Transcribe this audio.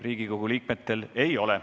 Riigikogu liikmetel teile rohkem küsimusi ei ole.